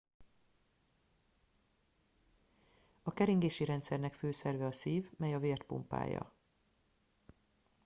a keringési rendszernek fő szerve a szív mely a vért pumpálja